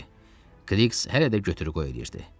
Qliks hələ də götür-qoy eləyirdi.